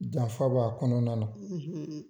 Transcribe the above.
Janfa b'a kɔnɔna na,